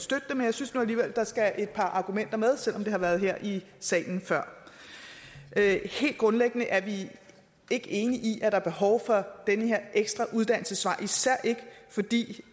synes alligevel at der skal et par argumenter med selv om det har været her i salen før helt grundlæggende er vi ikke enige i at der er behov for den her ekstra uddannelsesvej især ikke fordi det